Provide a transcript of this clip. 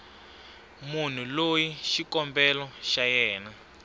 munhu loyi xikombelo xa yena